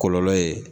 Kɔlɔlɔ ye